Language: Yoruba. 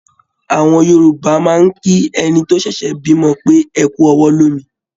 Àwọn Yorùbá máa ń kí ẹni tó ṣẹ̀ṣẹ̀ bímọ pé "ẹkú ọwọ́ lómi"